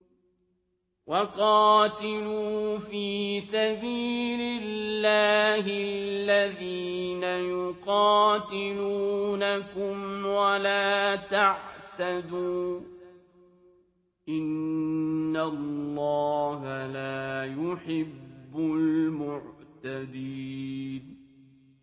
وَقَاتِلُوا فِي سَبِيلِ اللَّهِ الَّذِينَ يُقَاتِلُونَكُمْ وَلَا تَعْتَدُوا ۚ إِنَّ اللَّهَ لَا يُحِبُّ الْمُعْتَدِينَ